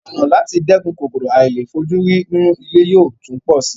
Ọ̀nà láti dẹ́kun kòkòrò àìlèfojúrí nínú ilé yóò tún pọ̀ si